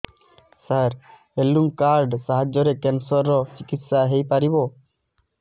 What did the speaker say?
ସାର health card ସାହାଯ୍ୟରେ cancer ର ଚିକିତ୍ସା ହେଇପାରିବ